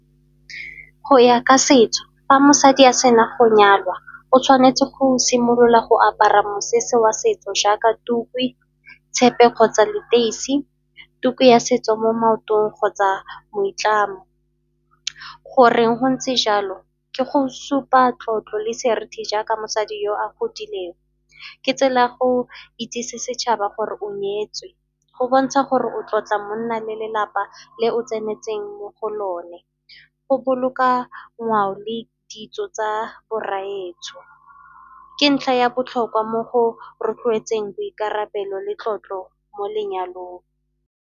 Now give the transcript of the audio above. Go ya ka setso fa mosadi a sena go nyalwa o tshwanetse go simolola go apara mosese wa setso jaaka tuku, tshepe kgotsa leteisi, tuku ya setso mo maotong kgotsa moitlamo. Goreng go ntse jalo, ke go supa tlotlo le serithi jaaka mosadi yo a godileng, ke tsela go itsise setšhaba gore o nyetswe, go bontsha gore o tlotla monna le lelapa le o tsenetseng mo go lone, go boloka ngwao le ditso tsa bo rraetsho. Ke ntlha ya botlhokwa mo go rotloetseng boikarabelo le tlotlo mo lenyalong.